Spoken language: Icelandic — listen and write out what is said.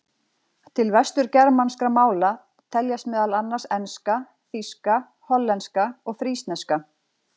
Til vesturgermanskra mála teljast meðal annars enska, þýska, hollenska og frísneska.